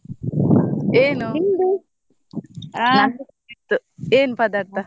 ಏನು ಹ ನಂದಾಯ್ತು ಏನ್ ಪದಾರ್ಥ?